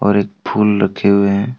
और एक फूल रखे हुए है।